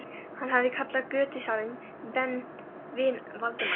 Hann hafði kallað götusalann vin Valdimars.